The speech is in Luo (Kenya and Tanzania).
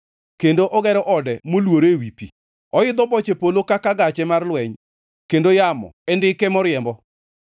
kendo ogero ode moluore ewi pi. Oidho boche polo kaka gache mar lweny kendo yamo e ndike moriembo.